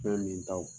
Fɛn min ta wo